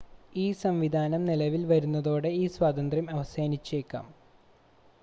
ഈ സംവിധാനം നിലവിൽ വരുന്നതോടെ ഈ സ്വാതന്ത്ര്യം അവസാനിച്ചേക്കാം